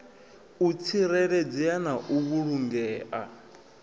u tsireledzea na u vhulungea